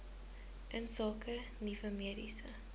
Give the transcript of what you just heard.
insake nuwe mediese